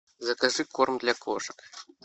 закажи корм для кошек